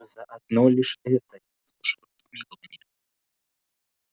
за одно лишь это я заслужила помилование